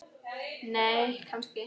nei kannski